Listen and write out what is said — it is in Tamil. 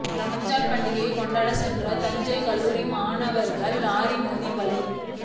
ரம்ஜான் பண்டிகை கொண்டாட சென்ற தஞ்சை கல்லூரி மாணவர்கள் லாரி மோதி பலி